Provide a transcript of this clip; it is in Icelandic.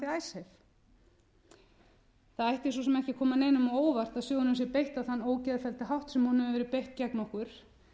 sem ekki að koma neinum á óvart að sjóðnum sé beitt á þann ógeðfellda hátt sem honum hefur verið beitt gegn okkur